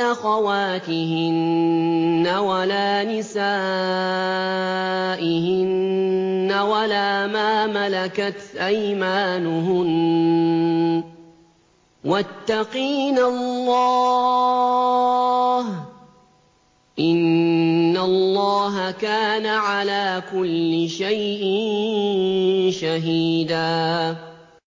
أَخَوَاتِهِنَّ وَلَا نِسَائِهِنَّ وَلَا مَا مَلَكَتْ أَيْمَانُهُنَّ ۗ وَاتَّقِينَ اللَّهَ ۚ إِنَّ اللَّهَ كَانَ عَلَىٰ كُلِّ شَيْءٍ شَهِيدًا